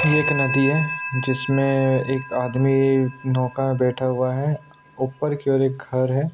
ये एक नदी है जिसमें एक आदमी नौका बैठा हुआ है ऊपर की और एक घर है।